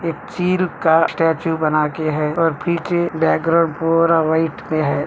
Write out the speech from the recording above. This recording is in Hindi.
एक चील का स्टैचू बनाके है और फीके बैकग्रॉउंड पूरा वाइट में है।